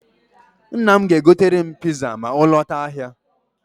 Nna m ga-egotere m piza ma ọ lọta ahịa.